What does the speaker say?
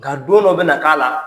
Ka don dɔ bɛna k'a la